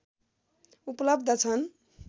उपलव्ध छन्